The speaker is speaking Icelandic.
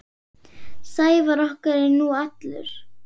Sævar okkar er nú allur.